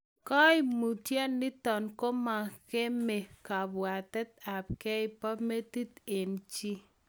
Kaimutiot nitok komangemee kabwatet ap gei poo metit eng chii.